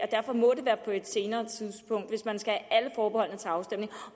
derfor må være på et senere tidspunkt hvis man skal